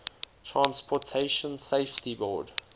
transportation safety board